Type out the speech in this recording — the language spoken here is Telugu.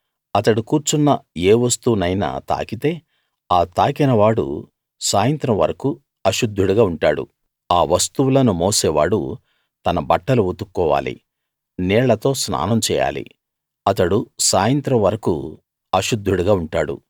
అతడు కూర్చున్న ఏ వస్తువునైనా తాకితే ఆ తాకినవాడు సాయంత్రం వరకూ అశుద్ధుడుగా ఉంటాడు ఆ వస్తువులను మోసేవాడు తన బట్టలు ఉతుక్కోవాలి నీళ్ళతో స్నానం చేయాలి అతడు సాయంత్రం వరకూ అశుద్ధుడుగా ఉంటాడు